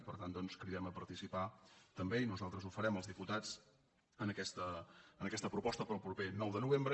i per tant doncs cridem a participar també i nosaltres ho farem els diputats en aquesta proposta per al proper nou de novembre